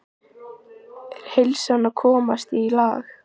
Er heilsan að komast í lag?